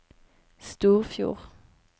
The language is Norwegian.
Storfjord